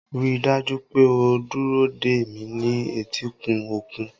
Rí i dájú pé o dúró dè mí ní etíkun òkun.